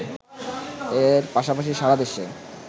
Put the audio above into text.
এর পাশাপাশি সারা দেশে